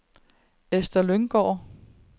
Ester Lynggaard